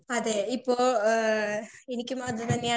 Speaker 2 അതേ ഇപ്പൊ ഏ .